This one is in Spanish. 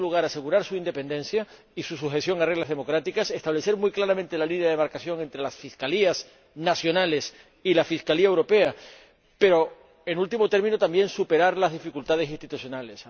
en segundo lugar, asegurar su independencia y su sujeción a reglas democráticas, establecer muy claramente la línea de demarcación entre las fiscalías nacionales y la Fiscalía Europea y, en último término, superar también las dificultades institucionales.